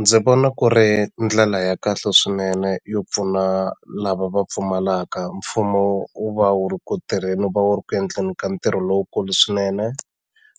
Ndzi vona ku ri ndlela ya kahle swinene yo pfuna lava va pfumalaka mfumo wu va wu ri ku tirheni wu va wu ri ku endleni ka ntirho lowukulu swinene